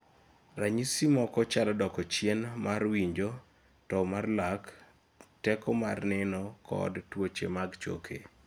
ranyisi moko chalo doko chien mar winjo, tou mar lak teko mar neno kod tuoche mag choke